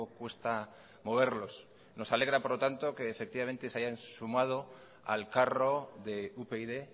cuesta moverlos nos alegra por lo tanto que efectivamente se hayan sumado al carro de upyd